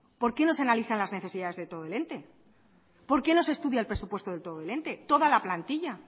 por qué no se analizan las necesidades de todo el ente por qué no se estudia el presupuesto de todo el ente toda la plantilla